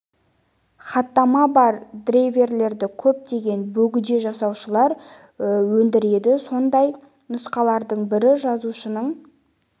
хаттамасы бар драйверлерді көптеген бөгде жасаушылар өндіреді сондай нұсқалардың бірі жалаушының